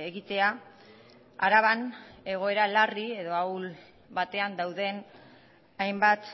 egitea araban egoera larri edo ahul batean dauden hainbat